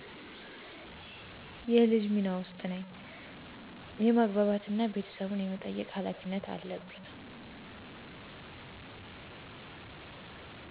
የልጅ ሚና ውስጥ ነኚ የማግባባት እና ቤተሰቡን የመጠበቅ ሀላፊነት አለብኚ